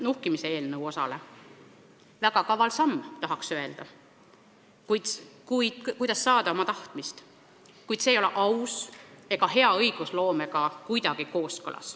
Tahaks öelda, et väga kaval samm, selleks et saada oma tahtmist, kuid see ei ole aus ega kuidagi kooskõlas hea õigusloome tavaga.